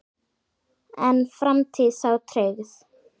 Er framtíð þá trygg?